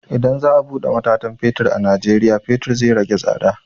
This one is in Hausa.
Idan za a buɗe matatan fetur a najeriya, fetur zai rage tsada.